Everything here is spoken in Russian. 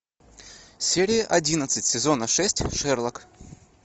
серия одиннадцать сезона шесть шерлок